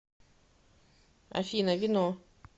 афина вино